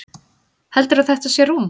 Heldurðu að þetta sé rúm?